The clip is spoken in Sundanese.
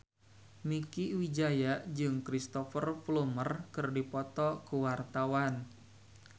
Mieke Wijaya jeung Cristhoper Plumer keur dipoto ku wartawan